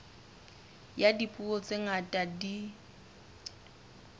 ya dipuo tse ngata di